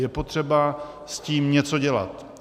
Je potřeba s tím něco dělat.